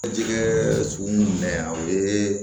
Jɛgɛ suguni yan o ye